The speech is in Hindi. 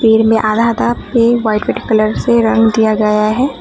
पेड़ में आधा आधा व्हाइट कलर से रंग दिया गया है।